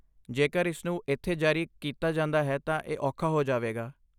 ਜੇਕਰ ਇਸ ਨੂੰ ਇੱਥੇ ਜਾਰੀ ਕੀਤਾ ਜਾਂਦਾ ਹੈ ਤਾਂ ਇਹ ਔਖਾ ਹੋ ਜਾਵੇਗਾ।